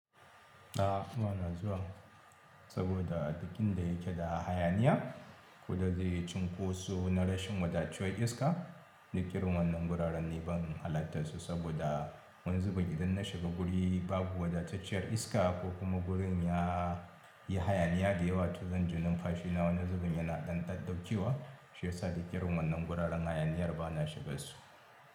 A'a ba na zuwa saboda duk in da yake da hayaniya. Kuda zai yi cunkoso na rashin wadataccen iska. Duk irin wannan wuraren ni ban halatta su saboda wani zubin idan na shiga guri babu wadatacciyar iska ko kuma gurin ya yi hayaniya da yawa, to zan jona kashi nawa na zubin yana ɗan ɗauɗaukewa. Shi yasa duk irin wannan wuraren hayaniyar ba na shigan su.